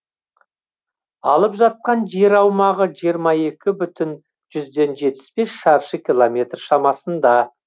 алып жатқан жер аумағы жиырма екі бүтін жүзден жетпіс бес шаршы километр шамасында